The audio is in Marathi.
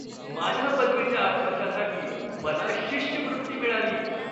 माझ्या पदवीच्या अभ्यासासाठी मला शिष्यवृत्ती मिळाली!